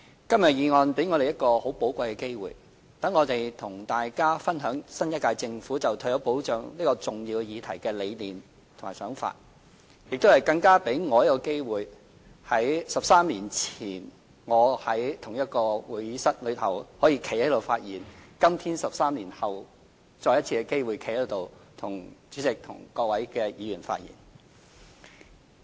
今天的議案辯論給我們一個很寶貴的機會，讓我們與大家分享新一屆政府對於退休保障這項重要議題的理念和想法，更給我一個機會，繼13年前在同一個會議廳發言後，在今天 ——13 年後——再次有機會可以在這裏向主席和各位議員發言。